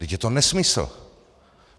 Vždyť je to nesmysl.